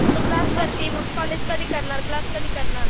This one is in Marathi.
तू क्लास करती, कॉलेज कधी करणार? क्लास कधी करणार?